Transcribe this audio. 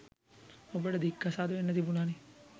ඔබට දික්‌කසාද වෙන්න තිබුණනේ?